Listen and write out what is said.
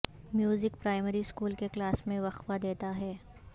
music primary school کے class میں وقفہ دیتا ہے